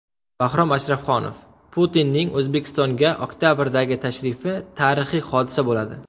Bahrom Ashrafxonov: Putinning O‘zbekistonga oktabrdagi tashrifi tarixiy hodisa bo‘ladi.